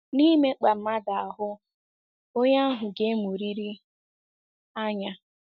Na-ịmekpaa mmadụ ahụ́, onye ahụ ga-emuriri anya.